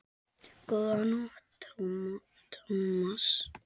Góða nótt, Thomas